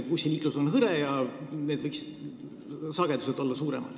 Bussiliiklus on seal hõre, sagedus võiks olla suurem.